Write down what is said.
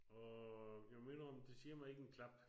Og jeg må indrømme det siger mig ikke en klap